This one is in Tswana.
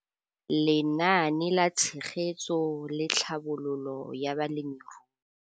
Lenaane la Tshegetso le Tlhabololo ya Balemirui.